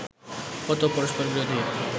কত পরস্পরবিরোধী